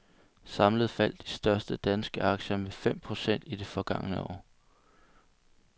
Samlet faldt de største danske aktier med fem procent i det forgangne år.